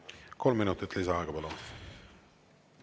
Kolm minutit lisaaega, palun!